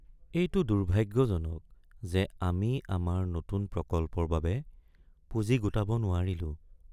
এইটো দুৰ্ভাগ্যজনক যে আমি আমাৰ নতুন প্ৰকল্পৰ বাবে পুঁজি গোটাব নোৱাৰিলো।